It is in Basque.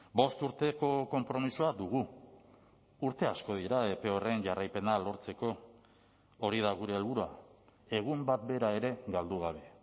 bost urteko konpromisoa dugu urte asko dira epe horren jarraipena lortzeko hori da gure helburua egun bat bera ere galdu gabe